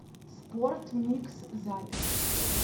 спортмикс запись